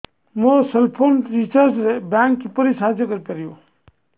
ମୋ cell phone recharge ରେ bank କିପରି ସାହାଯ୍ୟ କରିପାରିବ